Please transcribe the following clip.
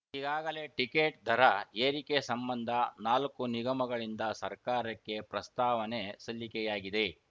ಈಗಾಗಲೇ ಟಿಕೆಟ್‌ ದರ ಏರಿಕೆ ಸಂಬಂಧ ನಾಲ್ಕು ನಿಗಮಗಳಿಂದ ಸರ್ಕಾರಕ್ಕೆ ಪ್ರಸ್ತಾವನೆ ಸಲ್ಲಿಕೆಯಾಗಿದೆ